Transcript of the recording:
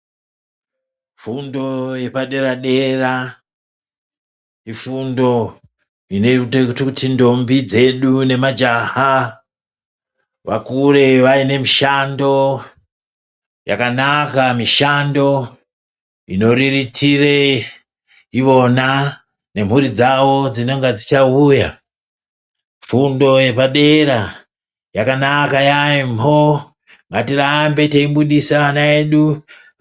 Fundo yepadera dera ifundo inoita kuti ndombi dzedu nemajaha vakure vaine mishando yakanaka. Mishando inoita kuti variritire ivona nemhuri dzavo dzinonga dzichauya. Fundo yepadera yakanaka yaembo. Ngatirambe teifundisa ana edu.